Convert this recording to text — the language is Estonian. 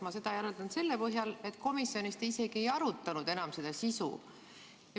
Ma järeldan seda selle põhjal, et komisjonis te seda isegi enam ei arutanud.